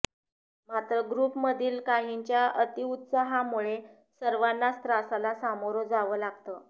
मात्र ग्रुपमधील काहींच्या अतिउत्साहामुळे सर्वांनाच त्रासाला सामोरं जावं लागतं